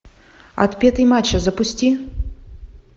отпетый мачо запусти